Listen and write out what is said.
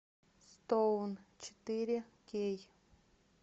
стоун четыре кей